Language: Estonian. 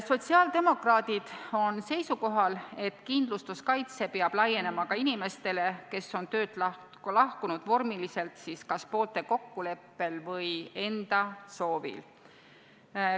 Sotsiaaldemokraadid on seisukohal, et kindlustuskaitse peab laienema ka inimestele, kes on töölt lahkunud vormiliselt kas poolte kokkuleppel või enda soovil.